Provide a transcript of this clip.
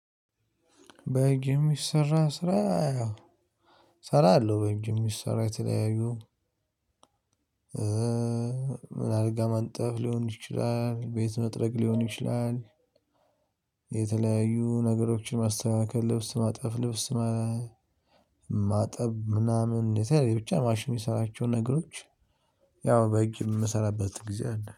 በእጅ የምሰራ ስራ ያው እሰራለሁ። በእጅ የምሰራ የተለያዩ ምን አልጋ ማንጠፍ ሊሆን ይችላል ቤት መጥረግ ሊሆን ይችላል። የተለያዩ ነገሮችን ማስተካከል ልብስ ማጠፍ ልብስ ማጠብ ምናምን የተለዩ ብቻ ማሽን የምሰራቸውን ነገሮች። ያው በእጅ የምሰራበት ጊዜ አለ